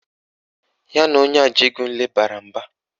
Ya na onye Ajegunle bara mba